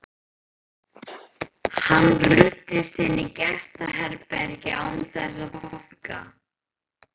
Hann ruddist inn í gestaherbergið án þess að banka.